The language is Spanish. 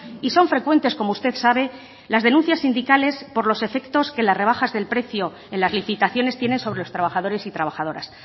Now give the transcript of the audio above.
y son frecuentes como usted sabe las denuncias sindicales por los efectos que las rebajas del precio en las licitaciones tienen sobre los trabajadores y trabajadoras